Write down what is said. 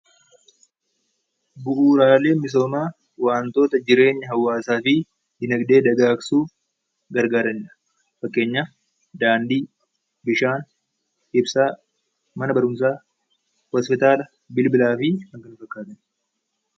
Bu'uuraalee misoomaa wantoota jireenya hawaasaafi diinagdee dagaagsuuf gargaaranidha. Fakkeenyaf daandii, bishaan, ibsaa, mana barumsaa, hospitaalaa, bilbilaafi kan kana fakkaatani